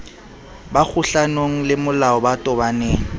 ba kgohlanong lemolao ba tobaneng